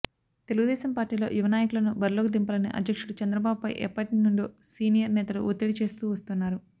తెలుగుదేశం పార్టీలో యువ నాయకులను బరిలోకి దింపాలని అధ్యక్షుడు చంద్రబాబుపై ఎప్పటి నుండో సీనియర్ నేతలు ఒత్తిడి చేస్తూ వస్తున్నారు